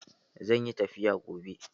Zan yi tafiya gobe.